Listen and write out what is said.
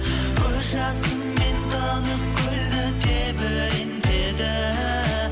көз жасымен тынық көлді тебірентеді